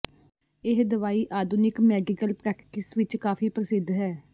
ਇਹ ਦਵਾਈ ਆਧੁਨਿਕ ਮੈਡੀਕਲ ਪ੍ਰੈਕਟਿਸ ਵਿੱਚ ਕਾਫ਼ੀ ਪ੍ਰਸਿੱਧ ਹੈ